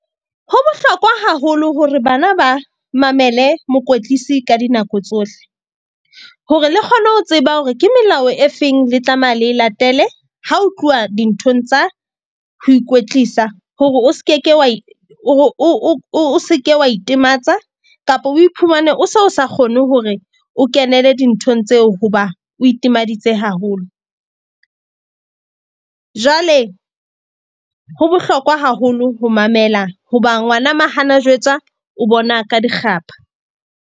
Ho bohlokwa haholo hore bana ba mamele mokwetlisi ka dinako tsohle, hore le kgone ho tseba hore ke melao e feng, le tlameha le latele. Ha ho tluwa dinthong tsa ho ikwetlisa hore o se ke ke wa hore o seke wa itematsa kapa o iphumane o so sa kgone hore o kenele dinthong tseo hoba o itimaditse haholo. Jwale ho bohlokwa haholo ho mamela hoba ngwana ma hana jwetsa o bona ka dikgapha.